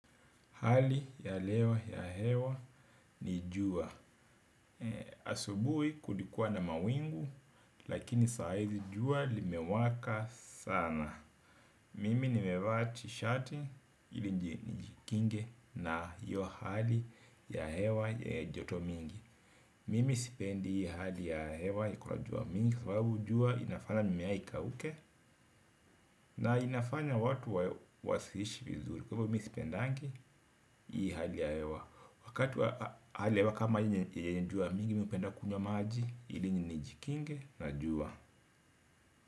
Hali ya lewa ya hewa ni jua. Asubuhi kulikuwa na mawingu. Lakini saa hizi jua limewaka sana. Mimi nimevaa tishati ili njikinge na hiyo hali ya hewa joto mingi. Mimi sipendi hali ya hewa iko na jua mingi kwa sababu jua inafanya mimea ikauke. Na inafanya watu wasiishi vizuri kwa hvo mi sipendengi hii hali ya hewa, wakati wa hali ya hewa kama yenye jua mingi mi hupenda kunywa maji ili njikinge na jua.